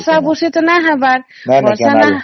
ବର୍ଷ ବର୍ଷି ତ ନାଇଁ ହେବାର